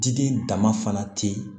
Diden dama fana te yen